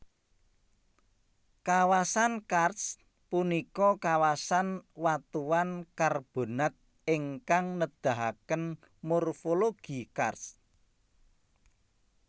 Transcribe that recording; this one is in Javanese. Kawasan karst punika kawasan watuan karbonat ingkang nedahaken morfologi karst